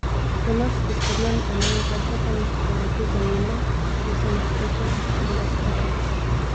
To nas v zgodnjem enaindvajsetem stoletju zanima, to se nas tiče, to nas pretrese.